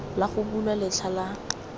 la go bulwa letlha la